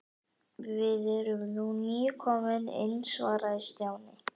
Við erum nú nýkomin inn svaraði Stjáni.